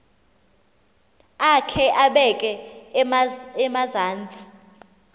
akhe abeke emazantsi